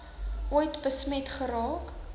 ooit besmet geraak